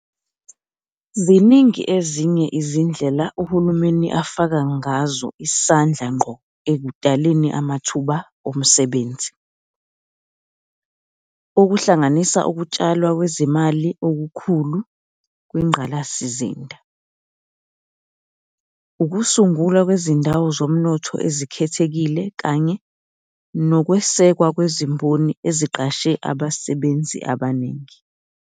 Ziningi ezinye izindlela uhulumeni afaka ngazo isandla ngqo ekudaleni amathuba omsebenzi, okuhlanganisa ukutshalwa kwezimali okukhulu kwingqalasizinda, ukusungulwa kwezindawo zomnotho ezikhethekile kanye nokwesekwa kwezimboni eziqashe abasebenzi abaningi.